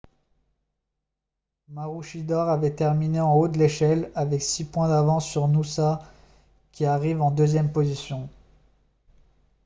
maroochydore avait terminé en haut de l'échelle avec six points d'avance sur noosa qui arrive en deuxième position